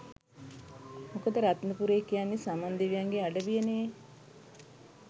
මොකද රත්නපුරේ කියන්නේ සමන් දෙවියන්ගේ අඩවිය නේ.